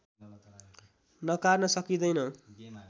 नकार्न सकिँदैन